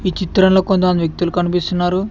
ఈ చిత్రంలో కొంతమంది వ్యక్తులు కనిపిస్తున్నారు.